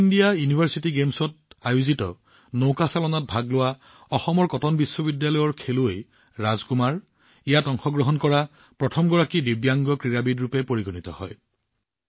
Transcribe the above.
খেলো India university গেমছত অনুষ্ঠিত ৰয়িং ইভেণ্টত অসমৰ কটন বিশ্ববিদ্যালয়ৰ অন্যতম ৰাজকুমাৰে ইয়াত অংশগ্ৰহণ কৰা প্ৰথমগৰাকী দিব্যাংগ ব্যক্তি হিচাপে পৰিগণিত হয়